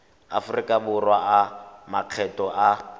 aforika borwa a makgetho a